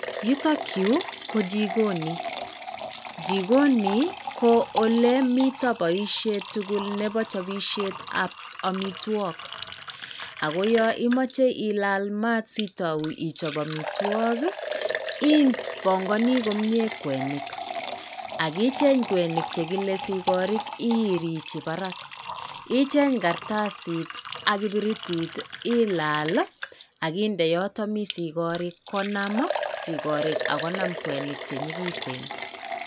Yutok yuu ko jikono jikoni ko ole miten boishet tukul nebo chopishet ab omitwok ako yon imoche ilal maat sitou ichop omitwokii ibongonii komie kwenik ak icheng kwenik chekile sikorik irigi barak icheng kartasit ak ibiritit ilal ak inde yoton mii sigorik konam sikorik ak konam kwenik chenyikisen.